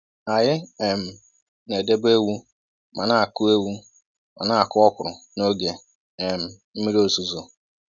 Anyị um na-edebe ewu ma na-akụ ewu ma na-akụ ọkwụrụ n'oge um mmiri ozuzo.